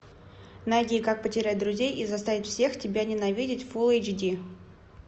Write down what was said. найди как потерять друзей и заставить всех тебя ненавидеть фул эйч ди